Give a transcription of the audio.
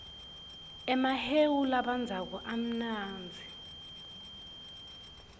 emahewu labandzako amnanzi